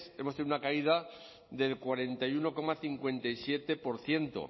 hemos tenido una caída del cuarenta y uno coma cincuenta y siete por ciento